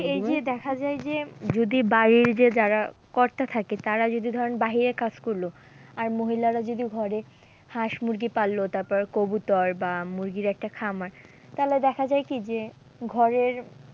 এই যে দেখা যায় যে যদি বাড়ির যে যারা কর্তা থাকে তারা যদি ধরেন বাহিরে কাজ করলো, আর মহিলারা যদি ঘরে হাঁস মুরগি পালালো তারপর কবুতর বা মুরগির একটা খামার, তাহলে দেখা যায় কি যে ঘরের